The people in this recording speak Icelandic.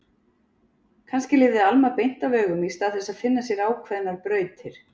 Kannski lifði Alma beint af augum í stað þess að finna sér ákveðnar brautir.